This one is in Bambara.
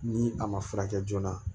Ni a ma furakɛ joona